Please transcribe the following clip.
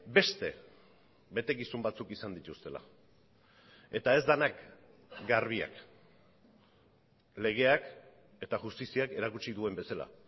beste betekizun batzuk izan dituztela eta ez denak garbiak legeak eta justiziak erakutsi duen bezala